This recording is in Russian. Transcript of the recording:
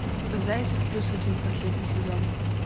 зайцев плюс один последний сезон